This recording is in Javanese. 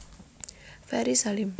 Ferry Salim